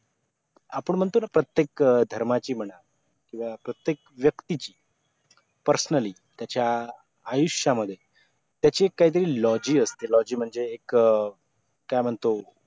आपण म्हणतो ना प्रत्येक धर्माची म्हणा किवा प्रत्येक व्यक्तीची personally त्याचा आयुष्यामध्ये त्याचे काहीतरी logi असते logi म्हणजे एक काय म्हणतो